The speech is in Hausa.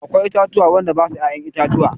Akwai itatuwa wanda basu ya'yan itatuwa.